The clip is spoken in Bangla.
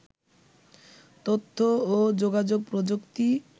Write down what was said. তথ্য ও যোগাযোগ প্রযুক্তি